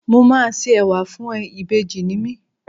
Mo máa ṣe Ẹ̀wà fún ẹ, ìbejì ni mí.